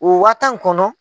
O wa tan kɔnɔ